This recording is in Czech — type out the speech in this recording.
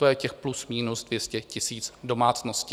To je těch plus minus 200 000 domácností.